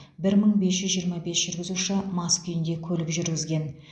бір мың бес жүз жиырма бес жүргізуші мас күйінде көлік жүргізген